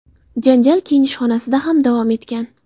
Janjal kiyinish xonasida ham davom etgan.